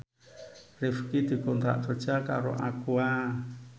Rifqi dikontrak kerja karo Aqua